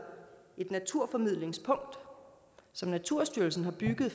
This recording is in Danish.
et naturformidlingspunkt som naturstyrelsen har bygget